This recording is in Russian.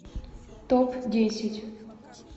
топ десять